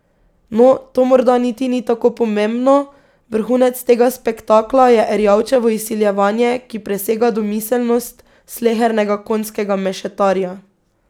No, to morda niti ni tako pomembno, vrhunec tega spektakla je Erjavčevo izsiljevanje, ki presega domiselnost slehernega konjskega mešetarja.